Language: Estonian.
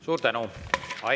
Suur tänu!